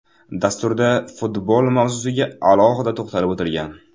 Dasturda futbol mavzusiga alohida to‘xtalib o‘tilgan.